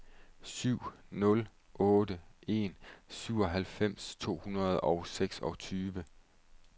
syv nul otte en syvoghalvfems to hundrede og seksogtyve